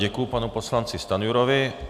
Děkuji panu poslanci Stanjurovi.